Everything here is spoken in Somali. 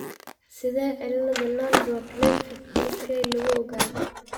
Sidee cillada Landau Kleffnerka (LK) lagu ogaadaa?